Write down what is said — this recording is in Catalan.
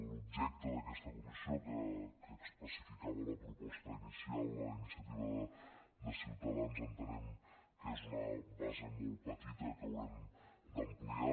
l’objecte d’aquesta comissió que especificava la proposta inicial a iniciativa de ciutadans entenem que és una base molt petita que haurem d’ampliar